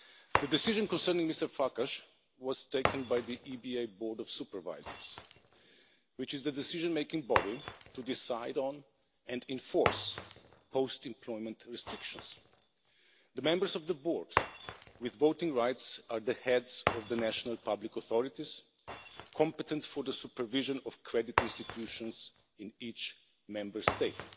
The decision concerning Mr Farkas was taken by the EBA Board of Supervisors, which is the decision making body to decide on and enforce post employment restrictions. The members of the board with voting rights are the heads of the national public authorities, competent for the supervision of credit institutions in each Member State.